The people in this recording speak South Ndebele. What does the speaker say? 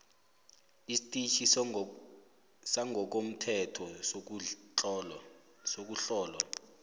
istetjhi sangokomthetho sokuhlolwa